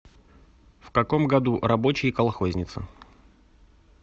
в каком году рабочий и колхозница